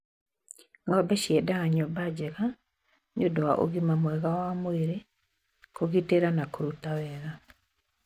Ng'ombe ciendaga nyũmba njega nĩũndũ wa ũgima mwega wa mwĩrĩ, kũgitĩra na kũruta wega.